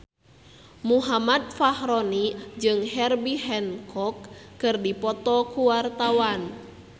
Muhammad Fachroni jeung Herbie Hancock keur dipoto ku wartawan